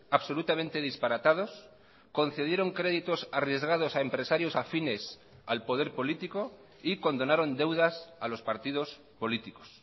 absolutamente disparatados concedieron créditos arriesgados a empresarios afines al poder político y condonaron deudas a los partidos políticos